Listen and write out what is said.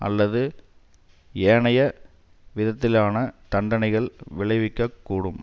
அல்லது ஏனைய விதத்திலான தண்டனைகள் விளைவிக்க கூடும்